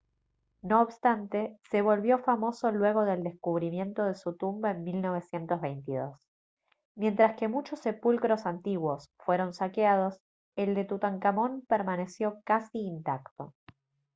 no obstante se volvió famoso luego del descubrimiento de su tumba en 1922 mientras que muchos sepulcros antiguos fueron saqueados el de tutankamón permaneció casi intacto